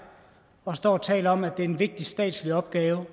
og står og taler om at det er en vigtig statslig opgave